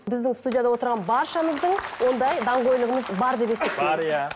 біздің студияда отырған баршамыздың ондай даңғойлығымыз бар деп есептеймін бар иә